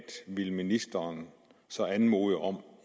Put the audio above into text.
ville ministeren så anmode om